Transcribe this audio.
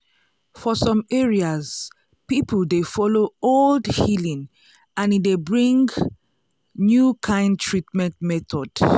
for some areas people dey follow old healing and e dey bring new kind treatment method.